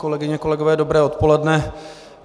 Kolegyně, kolegové, dobré odpoledne.